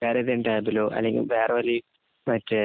വേറെ ഏതേലും ടാബിലോ, അല്ലെങ്കില്‍ വേറെ ഒരു മറ്റേ